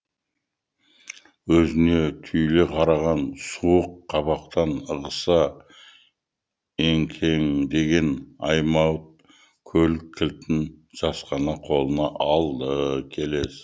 өзіне түйіле қараған суық қабақтан ығыса еңкеңдеген аймауыт көлік кілтін жасқана қолына алды